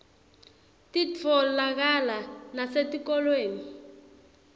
titfolakala nasetikolweni